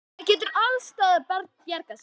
Maður getur alls staðar bjargað sér.